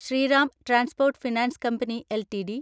Shriram transport finance company LTD